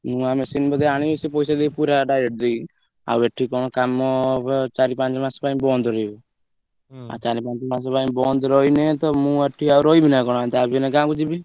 ନୂଆ machine ବୋଧେ ଆଣିବ ସେ ପଇସା ଦେଇକି ପୁରା direct ଦେଇକି ଆଉ ଏଠି କଣ କାମ ଚାରି ପାଞ୍ଚ ମାସ ପାଇଁ ବନ୍ଦ ରହିବ ଆଉ ଚାରି ପାଞ୍ଚ ମାସ ପାଇଁ ବନ୍ଦ ରହିନେ ତ ମୁ ଏଠି ଆଉ ରହିବି ନା କଣ ଯାହା ବି ହେନେ ଗାଁକୁ ଯିବି।